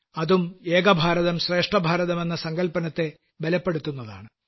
അതും ഏക ഭാരതം ശ്രേഷ്ഠ ഭാരതം എന്ന സങ്കല്പനത്തെ ബലപ്പെടുത്തുന്നതാണ്